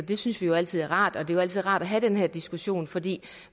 det synes vi jo altid er rart og det er altid rart at have den her diskussion fordi